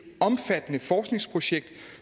omfattende forskningsprojekt